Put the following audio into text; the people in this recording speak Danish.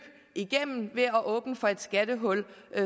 igennem ved at åbne for et skattehul